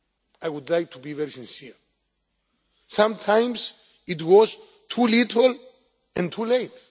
I would like to be very sincere sometimes it was too little and too late.